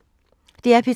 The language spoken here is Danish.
DR P3